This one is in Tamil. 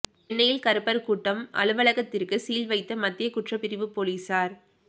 சென்னையில் கருப்பர் கூட்டம் அலுவலகத்திற்கு சீல் வைத்த மத்திய குற்றப்பிரிவு போலீசார்